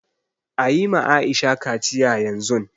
Ayi ma Aisha kaciya yanzun